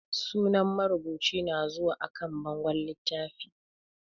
Sunan marubuci na zuwa a kan bangon littafi